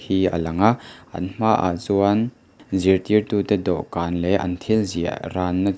hi a lang a an hmaah chuan zirtirtu te dawhkan leh an thil ziah ran na chu--